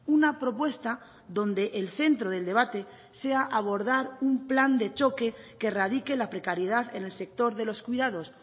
una propuesta donde el centro del debate sea abordar un plan de choque que erradique la precariedad en el sector de los cuidados